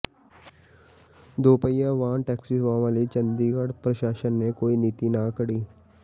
ਦੁਪਹੀਆ ਵਾਹਨ ਟੈਕਸੀ ਸੇਵਾਵਾਂ ਲਈ ਚੰਡੀਗੜ੍ਹ ਪ੍ਰਸ਼ਾਸਨ ਨੇ ਕੋਈ ਨੀਤੀ ਨਾ ਘੜੀ